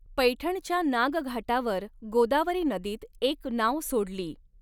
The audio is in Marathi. पैठणच्या नागघाटावर गोदावरी नदीत एक नाव सोडली.